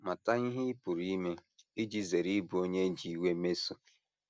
Mata ihe ị pụrụ ime iji zere ịbụ onye e ji iwe mesoo.